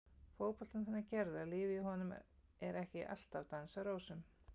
Fótboltinn er þannig gerður að lífið í honum er ekki alltaf dans á rósum.